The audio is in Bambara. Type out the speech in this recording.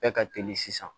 Bɛɛ ka teli sisan